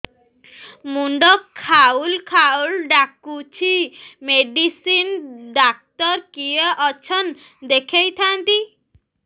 ମୁଣ୍ଡ ଖାଉଲ୍ ଖାଉଲ୍ ଡାକୁଚି ମେଡିସିନ ଡାକ୍ତର କିଏ ଅଛନ୍ ଦେଖେଇ ଥାନ୍ତି